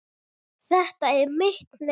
Þetta er mitt nef.